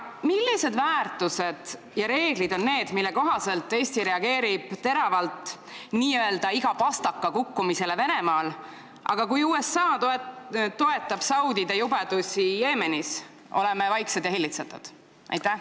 Millised väärtused ja reeglid on need, mille kohaselt Eesti reageerib teravalt n-ö igale pastaka kukkumisele Venemaal, aga kui USA toetab saudide jubedusi Jeemenis, siis oleme vaiksed ja hillitsetud?